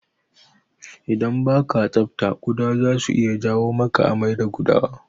Idan baka tsafta kuɗa zasu iya janyo maka amai da gudawa.